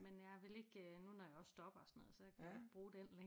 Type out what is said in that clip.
Men jeg vil ikke øh nu når jeg også stopper og sådan noget så kan jeg ikke bruge den længere